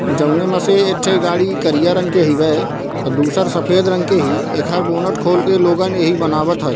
जउने म से एक ठे गाड़ी करिया रंग के हिबे अ दूसर सफ़ेद रंग के ही एकर बोनेट खोल के लोगन एहि बनावत थय।